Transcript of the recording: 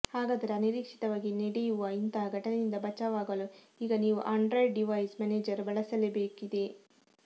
ಹಾಗಾದರೆ ಅನಿರೀಕ್ಷಿತವಾಗಿ ನೆಡೆಯುವ ಇಂತಹ ಘಟನೆಯಿಂದ ಬಚಾವಾಗಲು ಈಗ ನೀವು ಆಂಡ್ರಾಯ್ಡ್ ಡಿವೈಸ್ ಮೆನೇಜರ್ ಬಳಸಲೇ ಬೇಕಿದೆ